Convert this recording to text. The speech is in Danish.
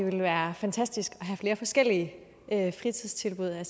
ville være fantastisk at have flere forskellige fritidstilbud jeg